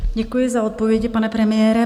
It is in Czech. Děkuji za odpovědi, pane premiére.